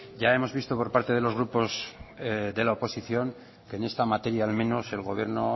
ya hemos visto por parte de los grupos de la oposición que en esta materia al menos el gobierno